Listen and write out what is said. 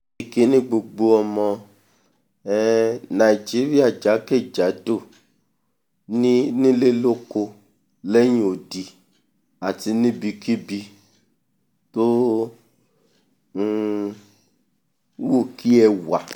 ìkíni gbogbo ọmọ um nàìjíríà jákè-jádò nílé lóko lódò lẹ́hìn odi àti níbikíbi tó um wù kí ẹ wà